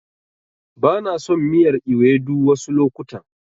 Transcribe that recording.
Bana son miyar Ewedu wasu lokutan.